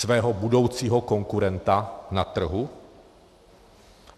Svého budoucího konkurenta na trhu?